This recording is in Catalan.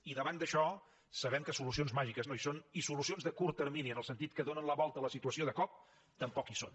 i davant d’això sabem que solucions màgiques no hi són i solucions de curt termini en el sentit que donen la volta a la situació de cop tampoc hi són